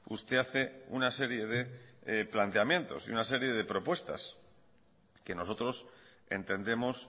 usted hace una serie de planteamientos y una serie de propuestas que nosotros entendemos